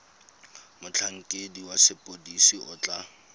motlhankedi wa sepodisi o tla